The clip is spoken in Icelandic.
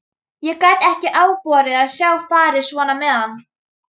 Ég gat ekki afborið að sjá farið svona með hann.